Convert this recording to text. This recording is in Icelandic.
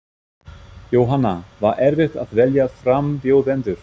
Jóhanna: Var erfitt að velja frambjóðendur?